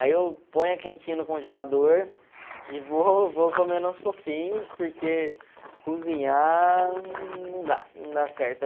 Aí eu ponho a quentinha no congelador e vou e vou comendo aos pouquinhos, porque cozinhar não dá, não dá certo.